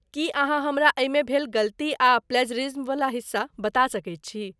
की अहाँ हमरा एहिमे भेल गलती आ प्लेजरिज्मवला हिस्सा बता सकैत छी?